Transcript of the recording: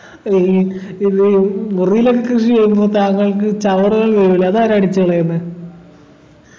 ഈ ഇ ഇത് മുറിയിലൊക്കെ കൃഷിചെയ്യുമ്പോ താങ്കൾക്ക് ചവറുകൾ വീഴുലെ അതാരാ അടിച്ചു കളയുന്നെ